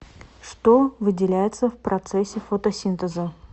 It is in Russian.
что выделяется в процессе фотосинтеза